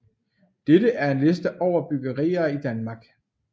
Dette er en liste over bryggerier i Danmark